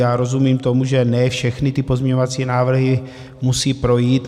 Já rozumím tomu, že ne všechny ty pozměňovací návrhy musí projít.